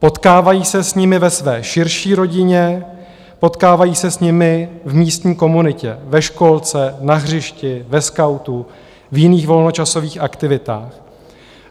Potkávají se s nimi ve své širší rodině, potkávají se s nimi v místní komunitě, ve školce, na hřišti, ve skautu, v jiných volnočasových aktivitách.